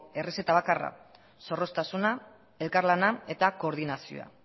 errezeta bakarra zorroztasuna elkarlana eta koordinazioa